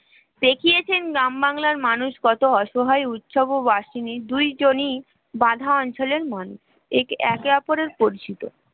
দেখিয়েছেন গ্রাম বাংলার মানুষ কত অসহায় উৎসবো আসিনি, দুইজনি বাধাঁচলে মন একে একে অপরের পরিচিত